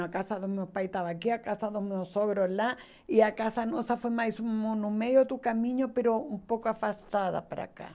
A casa do meu pai estava aqui, a casa do meu sogro lá, e a casa nossa foi mais ou menos no meio do caminho, um pouco afastada para cá.